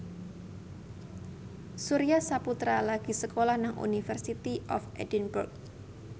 Surya Saputra lagi sekolah nang University of Edinburgh